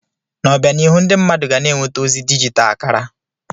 N'obianihu, ndị mmadụ ga na-enweta ozi dijital kara.